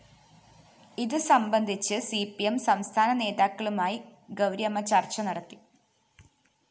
ഇത്്് സംബന്ധിച്ച്് C P M സംസ്ഥാന നേതാക്കളുമായി ഗൗരിയമ്മ ചര്‍ച്ച നടത്തി